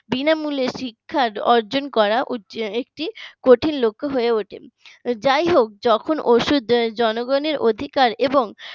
বিনামূল্যে শিক্ষা অর্জন করা একটি কঠিন লক্ষ্য হয়ে ওঠে যাই হোক যখন জনগণের অধিকার এবং